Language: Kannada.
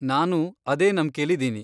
ನಾನೂ ಅದೇ ನಂಬ್ಕೆಲಿದೀನಿ.